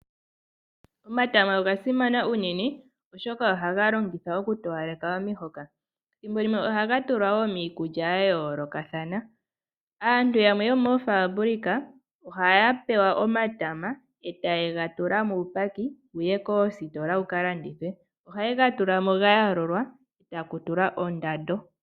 Omatama oga simana unene oshoka ohaga longithwa okutowaleka omihoka , ethimbo limwe ohaga tulwa miikulya ya yoolokathana. Aantu yamwe yomoofabulika ohaya pewa omatama eta ye ga tula muupaki wukalandithwe koositola moka haye ga tulamo gaayoolola etaya tu lako oondando.